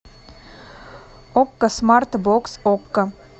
окко смарт бокс окко